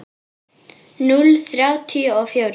Núll þrjátíu og fjórir?